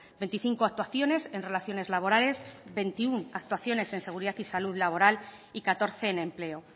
veinticinco actuaciones en relaciones laborales veintiuno actuaciones en seguridad y salud laboral y catorce en empleo